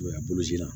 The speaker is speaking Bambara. A bolo la